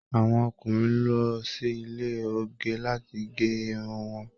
Àwọn ọkùnrin lọ sí ile oge lati gé irun wọn